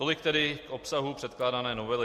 Tolik tedy k obsahu předkládané novely.